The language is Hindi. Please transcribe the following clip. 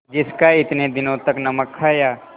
जिसका इतने दिनों तक नमक खाया